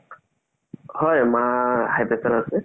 হয় মাৰ high pressure আছে